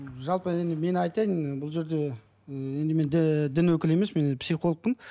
жалпы енді мен айтайын бұл жерде ммм енді мен дін өкілі емеспін мен психологпын